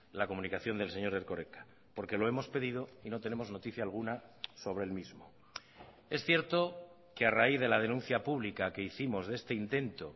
la comunicación del señor erkoreka porque lo hemos pedido y no tenemos noticia alguna sobre el mismo es cierto que a raíz de la denuncia pública que hicimos de este intento